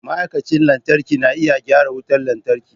Ma'aikacin lantarki na iya gyara wutar lantarki.